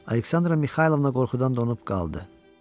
Aleksandra Mixaylovna qorxudan donub qaldı.